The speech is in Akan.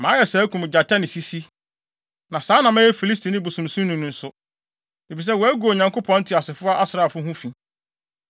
Mayɛ saa akum gyata ne sisi, na saa na mɛyɛ Filistini bosonsomni no nso, efisɛ wagu Onyankopɔn Teasefo asraafo ho fi.